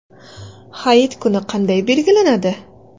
Hayit kuni qanday belgilanadi.